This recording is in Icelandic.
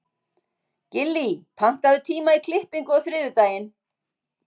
Gillý, pantaðu tíma í klippingu á þriðjudaginn.